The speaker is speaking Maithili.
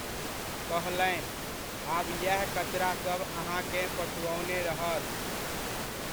कहलनि, आब येह कचरासब अहाँकेँ पछुओने रहत।